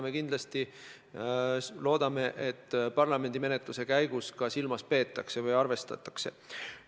Me kindlasti loodame, et parlamendimenetluse käigus neid ka arvestatakse.